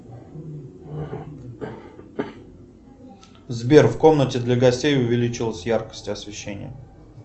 сбер в комнате для гостей увеличилась яркость освещения